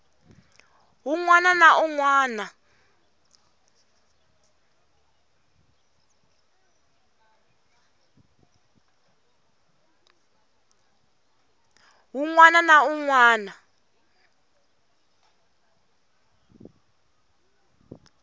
wun wana na wun wana